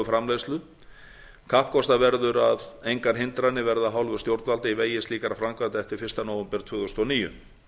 kísilflöguframleiðslu kappkostað verður að engar hindranir verði af hálfu stjórnvalda í vegi slíkra framkvæmda eftir fyrsta nóvember tvö þúsund og níu